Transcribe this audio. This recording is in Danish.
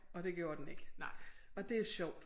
Og det gjorde den ikke og det er sjovt